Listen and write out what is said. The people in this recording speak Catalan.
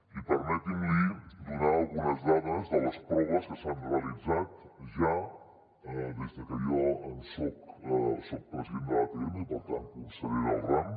i permeti’m donar li algunes dades de les proves que s’han realitzat ja des de que jo soc president de l’atm i per tant conseller del ram